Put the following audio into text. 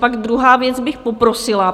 Pak druhá věc, bych poprosila.